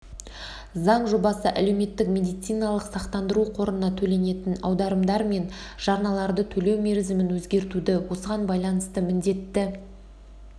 заң жобасы әлеуметтік медициналық сақтандыру қорына төленетін аударымдар мен жарналарды төлеу мерзімін өзгертуді осыған байланысты міндетті